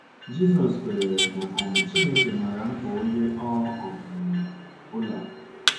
Jizọs kwenyere na um Chineke maara mkpa onye ọ um bụla.